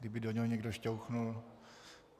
Kdyby do něho někdo šťouchnul.